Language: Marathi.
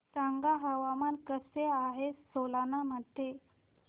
सांगा हवामान कसे आहे सोलान मध्ये